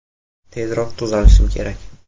Tezroq tuzalishim kerak.